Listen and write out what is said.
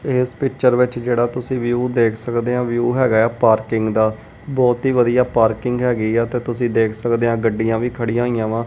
ਇਸ ਪਿਕਚਰ ਵਿੱਚ ਜਿਹੜਾ ਤੁਸੀਂ ਵੀ ਉਹ ਦੇਖ ਸਕਦੇ ਹੈ ਵਿਊ ਹੈਗਾ ਪਾਰਕਿੰਗ ਦਾ ਬਹੁਤ ਹੀ ਵਧੀਆ ਪਾਰਕਿੰਗ ਹੈਗੀ ਆ ਤੇ ਤੁਸੀਂ ਦੇਖ ਸਕਦੇ ਆ ਗੱਡੀਆਂ ਵੀ ਖੜੀਆਂ ਹੋਈਆਂ ਵਾ।